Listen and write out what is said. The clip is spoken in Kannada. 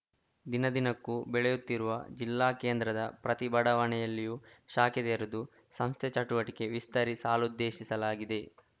ದಿನದಿನಕ್ಕೂ ಬೆಳೆಯುತ್ತಿರುವ ಜಿಲ್ಲಾ ಕೇಂದ್ರದ ಪ್ರತಿ ಬಡಾವಣೆಯಲ್ಲೂ ಶಾಖೆ ತೆರೆದು ಸಂಸ್ಥೆ ಚಟುವಟಿಕೆ ವಿಸ್ತರಿಸಲುದ್ದೇಶಿಸಲಾಗಿದೆ